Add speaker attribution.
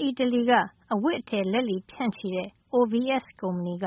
Speaker 1: အီတလီ အဝတ်အထည် လက်လီဖြန့်ချီတဲ့ OVS ကုမ္ပဏီက